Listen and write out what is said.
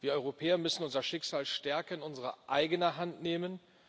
Wir Europäer müssen unser Schicksal stärken und in unsere eigene Hand nehmen.